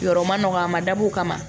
Yɔrɔ ma nɔgɔ a ma dab'o kama